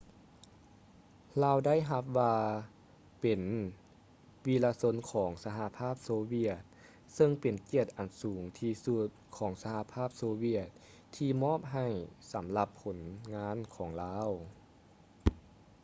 ລາວໄດ້ຮັບວ່າເປັນ ວິລະຊົນຂອງສະຫະພາບໂຊວຽດ ເຊິ່ງເປັນກຽດອັນສູງທີ່ສຸດຂອງສະຫະພາບໂຊວຽດທີ່ມອບໃຫ້ສຳລັບຜົນງານຂອງລາວ